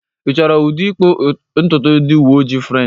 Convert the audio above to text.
Ị chọrọ ụdị ịkpụ ntutu ndị uwe ojii French?